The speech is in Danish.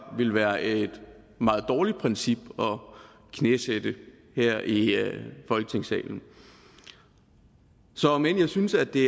vil være et meget dårligt princip at knæsætte her i folketingssalen så om end jeg synes at det